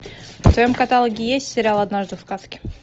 в твоем каталоге есть сериал однажды в сказке